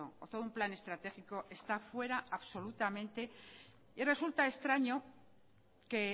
o todo un plan estratégico está fuera absolutamente y resulta extraño que